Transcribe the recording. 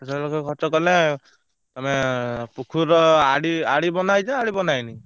ପାଞ୍ଚ ଛ ଲକ୍ଷ କଲେ ତମେ ପୋଖରୀ ର ଆdi ଆଡି ବନ୍ଧା ହେଇଛି ନା ଆଡି ବନ୍ଧା ହେଇନି?